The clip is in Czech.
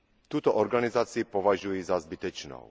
Tuto organizaci považuji za zbytečnou.